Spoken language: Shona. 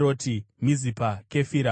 Mizipa, Kefira, Moza,